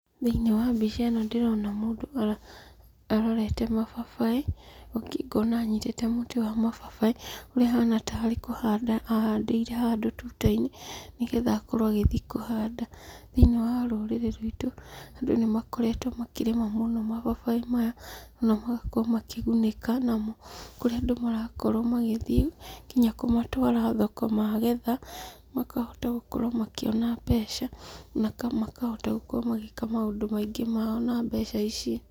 Thĩinĩ wa mbica ĩno ndĩrona mũndũ arorete mababaĩ, ngona anyitĩte mũtĩ wa mababaĩ, ũrĩa ahana tarĩ kũhanda ahandĩire handũ tuta-inĩ, nĩgetha akorwo agĩthiĩ kũhanda. Thĩniĩ wa rũrĩrĩ ruitũ, andũ nĩmakoretwo makĩrĩma mũno mababaĩ maya, onamagakorwo makĩgunĩka namo, kũrĩa andũ marakorwo magĩthiĩ nginya kũmatwara thoko magetha, makahota gũkorwo makĩona mbeca, makahota gũkorwo magĩka maũndũ maingũ mao na mbeca ici.